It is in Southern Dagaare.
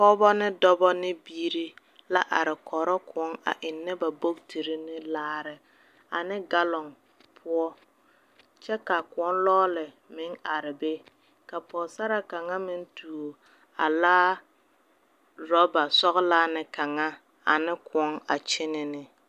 Pɔgeba ne dɔba ne biiri la are kɔrɔ kõɔ a ennɛ ba bogitiri ne laare ane galɔŋ poɔ. kyɛ ka akõɔ lɔɔle meŋ are be ka pɔgesaraa kaŋa meŋ tuo a laa orɔba sɔgelaa ne kaŋa ane kõɔ a kyene ne.